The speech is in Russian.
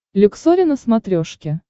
люксори на смотрешке